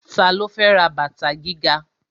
Ta ló fẹ́ ra bàtà gíga?